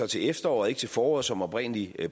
til efteråret og ikke til foråret som oprindelig